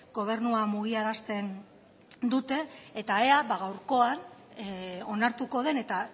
gobernua mugiarazten dute eta ea gaurkoan onartuko den eta